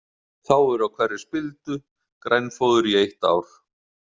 Þá er á hverri spildu grænfóður í eitt ár.